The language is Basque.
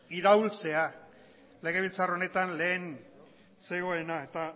iraultzea legebiltzar honetan lehen zegoena eta